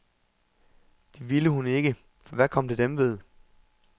Det ville hun ikke, for hvad kom det dem ved?